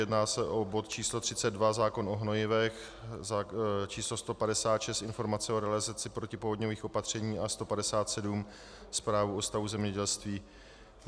Jedná se o bod číslo 32, zákon o hnojivech, číslo 156, informace o realizaci protipovodňových opatření, a 157, zprávu o stavu zemědělství.